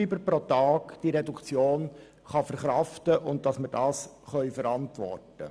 Die Reduktion um diese fünf Franken ist verkraftbar, und wir können sie verantworten.